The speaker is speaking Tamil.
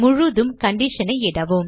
முழுதும் condition ஐ இடவும்